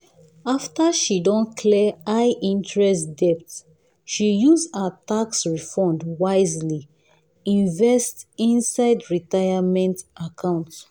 after she don clear high-interest debt she use her tax refund wisely invest inside retirement account.